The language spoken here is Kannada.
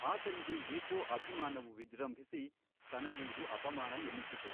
ಆತನಿಗೆ ಏಕೋ ಅಭಿಮಾನವು ವಿಜೃಂಭಿಸಿ ತನಗೆ ಇದು ಅಪಮಾನ ಎನ್ನಿಸಿತು.